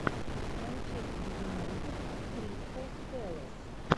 манчестер юнайтед кристал пэлас